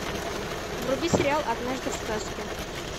вруби сериал однажды в сказке